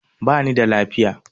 Bani da lafiya